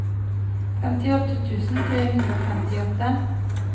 femtiåtte tusen tre hundre og femtiåtte